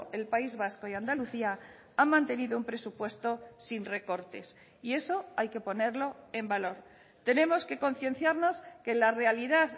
el país vasco y andalucía han mantenido un presupuesto sin recortes y eso hay que ponerlo en valor tenemos que concienciarnos que la realidad